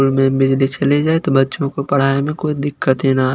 room में बिजली चले जाए तो बच्चों को पढ़ाई में कोई दिक्कत ही ना --